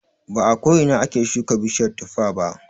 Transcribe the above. Ba a ko ina ake shuka bishiyar tuffa ba.